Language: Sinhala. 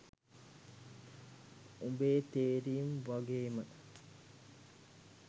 උබේ තේරීම් වගේම